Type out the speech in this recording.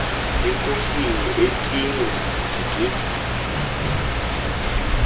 ekofini etini esidudwini